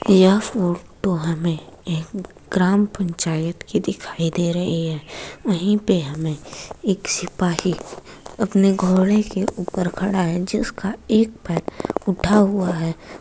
यह फोटो हमे एक ग्राम पंचायत की दिखाई दे रही है। वही पे हमे एक सिपाही अपने घोड़े के ऊपर खड़ा है। जिसका एक पैर उठा हुआ है।